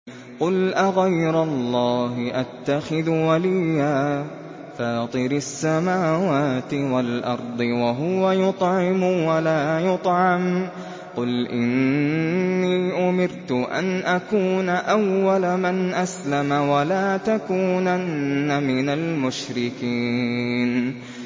قُلْ أَغَيْرَ اللَّهِ أَتَّخِذُ وَلِيًّا فَاطِرِ السَّمَاوَاتِ وَالْأَرْضِ وَهُوَ يُطْعِمُ وَلَا يُطْعَمُ ۗ قُلْ إِنِّي أُمِرْتُ أَنْ أَكُونَ أَوَّلَ مَنْ أَسْلَمَ ۖ وَلَا تَكُونَنَّ مِنَ الْمُشْرِكِينَ